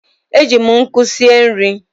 E ji m nkụ sie nri.